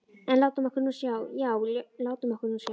En látum okkur nú sjá, já, látum okkur nú sjá.